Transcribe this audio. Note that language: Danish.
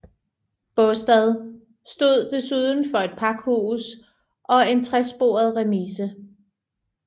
Baastad stod desuden for et pakhus og en tresporet remise